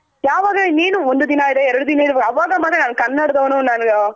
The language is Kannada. ಯಾವಾಗ ಇನೇನು ಒಂದ್ ದಿನ ಇದೆ ಎರಡ್ ದಿನ ಇದೆ ಅವಾಗ ಮಾತ್ರ ನಾನು ಕನ್ನಡದವನು